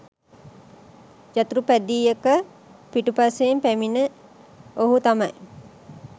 යතුරුපැදියක පිටුපසින් පැමිණි ඔහු තමයි